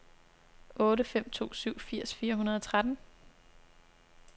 otte fem to syv firs fire hundrede og tretten